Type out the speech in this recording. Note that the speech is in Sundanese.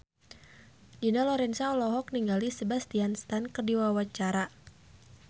Dina Lorenza olohok ningali Sebastian Stan keur diwawancara